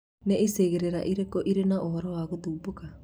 Nĩicigĩrĩra irĩkũ ĩrĩ na ũhoro wa gũthumbuka?